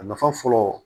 A nafa fɔlɔ